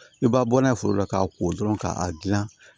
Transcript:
I b'a bɔ n'a ye foro la k'a ko dɔrɔn k'a dilan